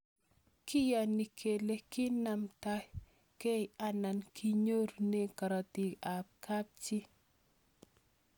Kiyani kele kinamtaikei anan kinyorune karatik ab kapchii